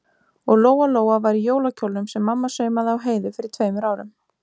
Og Lóa-Lóa var í jólakjólnum sem mamma saumaði á Heiðu fyrir tveimur árum.